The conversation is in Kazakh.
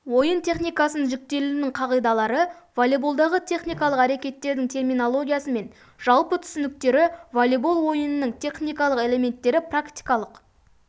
ойын техникасының жіктелуінің қағидалары волейболдағы техникалық әрекеттердің терминологиясы мен жалпы түсініктері волейбол ойынның техникалық элементтері практикалық